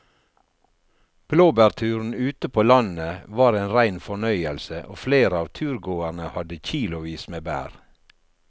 Blåbærturen ute på landet var en rein fornøyelse og flere av turgåerene hadde kilosvis med bær.